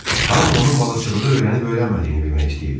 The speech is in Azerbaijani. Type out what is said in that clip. Hamı onun balıqçılığı öyrənib-öyrənmədiyini bilmək istəyirdi.